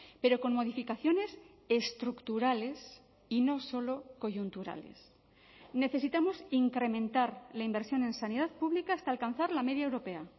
pero con modificaciones estructurales y no solo coyunturales necesitamos incrementar la inversión en sanidad pública hasta alcanzar la media europea